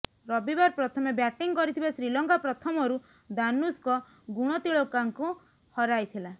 ରବିବାର ପ୍ରଥମେ ବ୍ୟାଟିଂ କରିଥିବା ଶ୍ରୀଲଙ୍କା ପ୍ରଥମରୁ ଦାନୁଷ୍କ ଗୁଣତିଳକାଙ୍କୁ ହରାଇଥିଲା